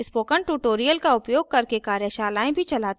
spoken tutorials का उपयोग करके कार्यशालाएँ भी चलाती है